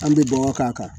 An bɛ bɔgɔ k'a kan